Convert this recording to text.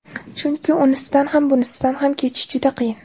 Chunki unisidan ham, bunisidan ham kechish juda qiyin.